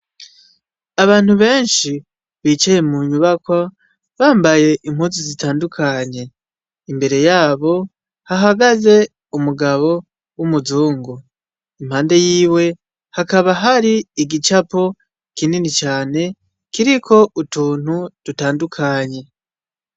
Abantu benshi jicaye munyubakwa bambaye impuzu zitandukanye. Imbere yabo hahagaze umugabo w'umuzungu. Impande yiwe hakaba hari igicapo kinini cane, kiriko utuntu dutandukanye.